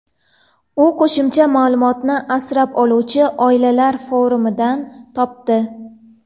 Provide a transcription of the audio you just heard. U qo‘shimcha ma’lumotni asrab oluvchi oilalar forumidan topdi.